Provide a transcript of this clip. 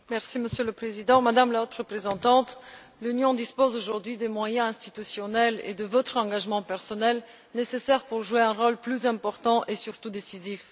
Monsieur le Président, Madame la Haute représentante, l'Union dispose aujourd'hui des moyens institutionnels et de votre engagement personnel nécessaire pour jouer un rôle plus important et surtout décisif.